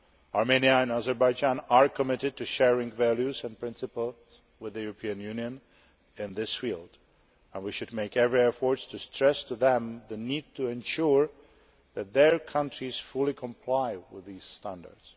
Armenia and Azerbaijan are committed to sharing values and principles with the European Union in this field and we should make every effort to stress to them the need to ensure that their countries fully comply with these standards.